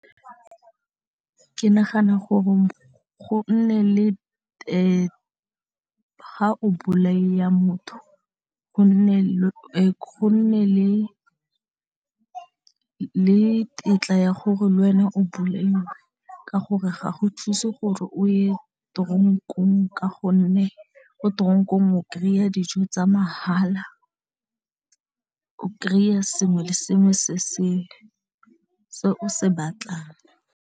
Ke nagana gore go nne le ha o motho go nne le tetla ya gore le wena o bolaiwe ka gore ga go thuse gore o ye tronk-ong ka gonne ko tronk-ong o kry-a dijo tsa mahala o kry-a sengwe le sengwe se o se batlang.